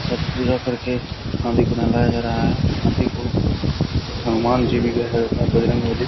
शायद पूजा करके हाथी को नहलाया जा रहा है हाथी को हनुमान जी भी है बजरंगबली।